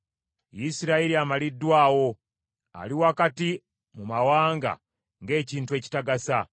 Isirayiri amaliddwawo; ali wakati mu mawanga ng’ekintu ekitagasa.